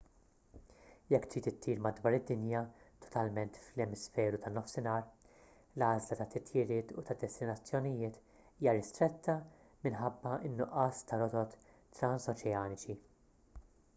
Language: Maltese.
jekk trid ittir madwar id-dinja totalment fl-emisferu tan-nofsinhar l-għażla tat-titjiriet u tad-destinazzjonijiet hija ristretta minħabba n-nuqqas ta' rotot transoċeaniċi